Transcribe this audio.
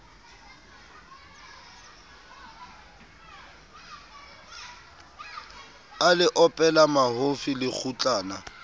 a le opela mahofi lekgutlana